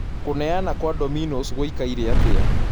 kũneana kwa domino's gũikaire atia